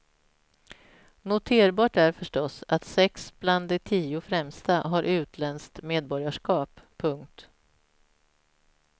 Noterbart är förstås att sex bland de tio främsta har utländskt medborgarskap. punkt